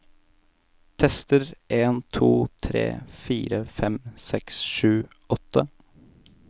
Tester en to tre fire fem seks sju åtte